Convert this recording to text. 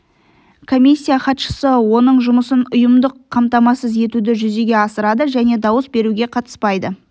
комиссия хатшысы оның жұмысын ұйымдық қамтамасыз етуді жүзеге асырады және дауыс беруге қатыспайды